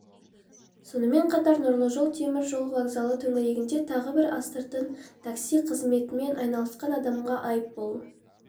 сонымен қатар нұрлы жол темір жол вокзалы төңірегінде тағы бір астыртын такси қызметімен айналысқан адамға айппұл